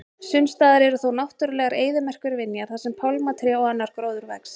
Sumstaðar eru þó náttúrulegar eyðimerkurvinjar þar sem pálmatré og annar gróður vex.